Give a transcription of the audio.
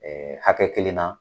hakɛ kelen na